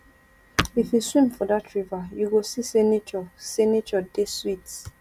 if you swim for dat river you go see sey nature sey nature dey sweet